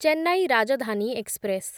Chennai Rajdhani express